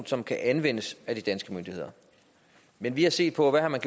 som kan anvendes af de danske myndigheder vi vi har set på hvad man